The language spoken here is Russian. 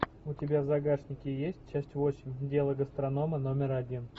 у тебя в загашнике есть часть восемь дело гастронома номер один